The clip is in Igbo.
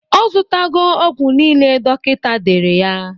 Ọ zụtago ọgwụ nile dọkịta dere ya.